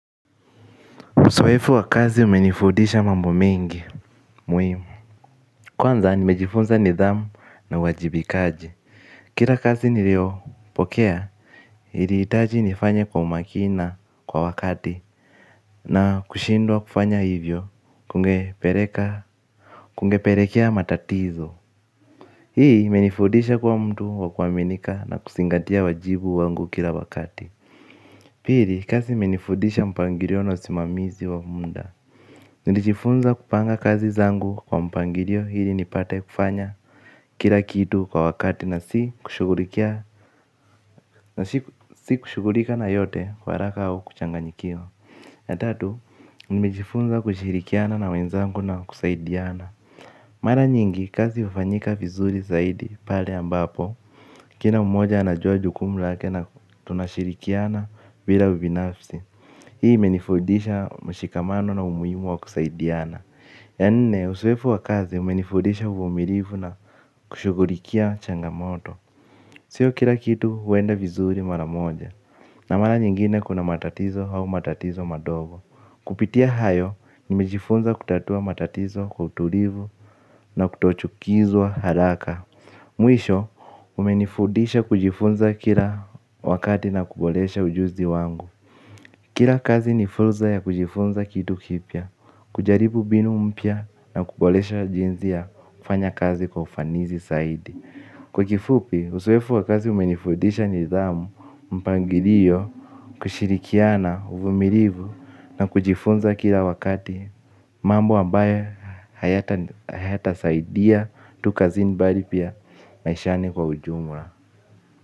Uzoefu wa kazi umenifundisha mambo mengi muhimu kwanza nimejifunza nidhamu na uwajibikaji kila kazi niliopokea ilihitaji nifanye kwa umakini na kwa wakati na kushindwa kufanya hivyo kungepelekea matatizo hii imenifundisha kuwa mtu wa kuaminika na kuzingatia wajibu wangu kila wakati pili kazi imenifudisha mpangilio na usimamizi wa muda. Nijifunza kupanga kazi zangu kwa mpangilio ili nipate kufanya kila kitu kwa wakati na si kushughulika na yote kwa haraka au kuchanganyikiwa ya tatu, nimejifunza kushirikiana na wenzangu na kusaidiana mara nyingi kazi hufanyika vizuri zaidi pale ambapo kila mmoja anajua jukumu lake na tunashirikiana bila ubinafsi hii imenifundisha mshikamano na umuhimu wa kusaidiana. Ya nne uzoefu wa kazi umenifundisha uvumilivu na kushughulikia changamoto. Sio kila kitu huenda vizuri mara moja na mara nyingine kuna matatizo au matatizo madogo kupitia hayo nimejifunza kutatua matatizo kwa utulivu na kutochukizwa haraka mwisho umenifundisha kujifunza kila wakati na kuboresha ujuzi wangu kila kazi ni fursa ya kujifunza kitu kipya kujaribu mbinu mpya na kuboresha jinsi ya kufanya kazi kwa ufanisi saidi kwa kifupi, uzoefu wa kazi umenifundisha nidhamu, mpangilio, kushirikiana, uvumilivu na kujifunza kila wakati mambo ambaye hayatasaidia tu kazini bali pia maishani kwa ujumla.